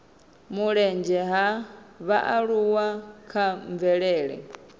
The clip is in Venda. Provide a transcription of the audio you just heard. mulenzhe ha vhaaluwa kha mvelele